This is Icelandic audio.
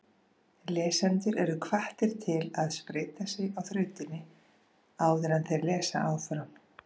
Lesendur eru hvattir til að spreyta sig á þrautinni áður en þeir lesa áfram.